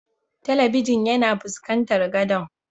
Telibijin yana fuskanci na godon.